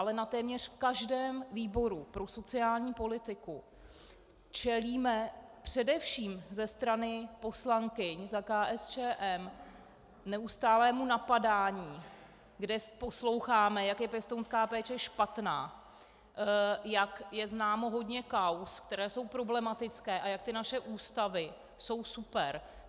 Ale na téměř každém výboru pro sociální politiku čelíme především ze strany poslankyň za KSČM neustálému napadání, kde posloucháme, jak je pěstounská péče špatná, jak je známo hodně kauz, které jsou problematické, a jak ty naše ústavy jsou super.